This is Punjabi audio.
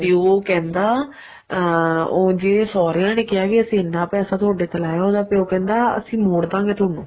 ਪਿਉ ਕਹਿੰਦਾ ਅਹ ਉਹ ਜ਼ੇ ਸਹੁਰਿਆ ਨੇ ਕਿਹਾ ਵੀ ਅਸੀਂ ਐਨਾ ਪੈਸਾ ਤੁਹਾਡੇ ਤੇ ਲਾਇਆ ਉਹਦਾ ਪਿਉ ਕਹਿੰਦਾ ਅਸੀਂ ਮੋੜ ਦਾਂਗੇ ਤੁਹਾਨੂੰ